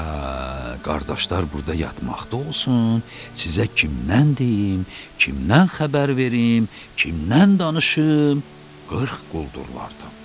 Hə, qardaşlar burda yatmaqda olsun, sizə kimdən deyim, kimdən xəbər verim, kimdən danışım 40 quldurlardan?